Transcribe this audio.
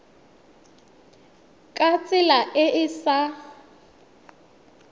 ka tsela e e sa